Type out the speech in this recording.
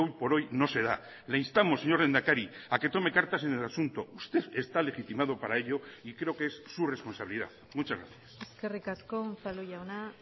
por hoy no se da le instamos señor lehendakari a que tome cartas en el asunto usted está legitimado para ello y creo que es su responsabilidad muchas gracias eskerrik asko unzalu jauna